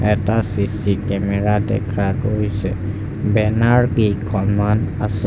এটা CC camera দেখা গৈছে বেনাৰ কেইখনমান আছে।